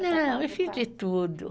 Não, eu fiz de tudo.